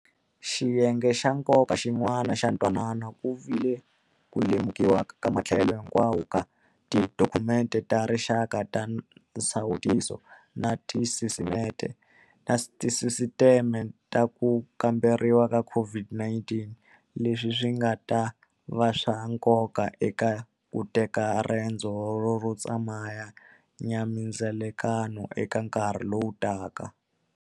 Xiyenge xa nkoka xin'wana xa ntwanano ku vi le ku lemu kiwa ka matlhelo hinkwawo ka tidokhumente ta rixaka ta nsawutiso na tisisiteme ta ku kamberiwa ka COVID-19 - leswi swi nga ta va swa nkoka eka ku teka rendzo ro tsemaka nya mindzilekano eka nkarhi lowu taka.